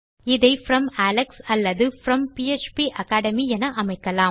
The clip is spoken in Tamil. இதை ப்ரோம் அலெக்ஸ் அல்லது ப்ரோம் பாப்பகேட்மி என அமைக்கலாம்